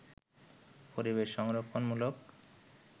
পরিবেশ সংরক্ষণমূলক